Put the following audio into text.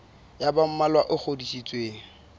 ya ba mmalwa e ngodisitsweng